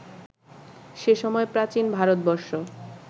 সে সময় প্রাচীন ভারতবর্ষ